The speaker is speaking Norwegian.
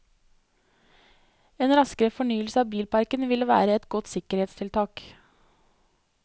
En raskere fornyelse av bilparken vil være et godt sikkerhetstiltak.